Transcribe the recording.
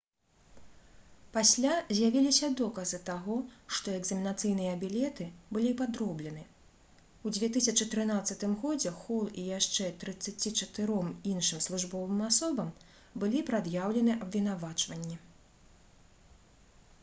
пасля з'явіліся доказы таго што экзаменацыйныя білеты былі падроблены у 2013 годзе хол і яшчэ 34 іншым службовым асобам былі прад'яўлены абвінавачванні